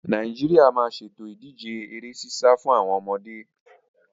Nàìjíríà máa ṣètò ìdíje ere sísá fún àwọn ọmọde